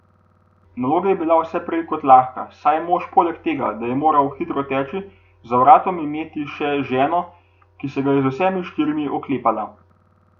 Naloga je bila vse prej kot lahka, saj je mož poleg tega, da je moral hitro teči, za vratom imeti še ženo, ki se ga je z vsemi štirimi oklepala.